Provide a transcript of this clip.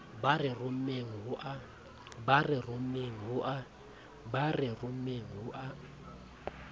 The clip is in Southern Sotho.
ba re rommeng ho a